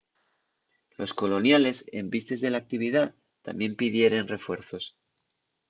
los coloniales en vistes de l'actividá tamién pidieren refuerzos